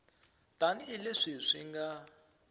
tani hi leswi swi nga